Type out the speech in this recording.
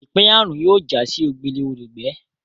Ipaeyarun yóò já sí ogbele olùgbé